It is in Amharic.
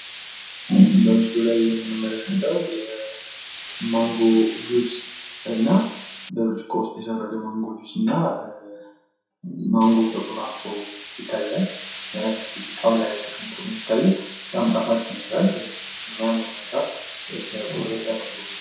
በምስሉ ላይ የምንመለከተው ማንጎ ፣ጁስና በብርጭቆ የሰረገ ማንጎ ጁስና ማንጎው ተቆራርጦ ይታያል። ጣውላ ላይ ተቀምጦ ነው የሚታዬው። በጣም ጣፋጭ ይመስላል በሚያምር ሁኔታ የተቆረጠ ማንጎ ነው።